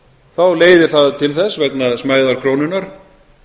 þá leiðir það til þess vegna smæðar krónunnar